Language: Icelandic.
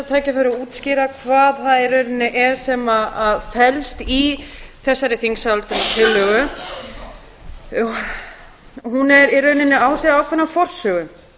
tækifæri og útskýra hvað það í rauninni er sem felst í þessari þingsályktunartillögu hún á sér í rauninni ákveðna forsögu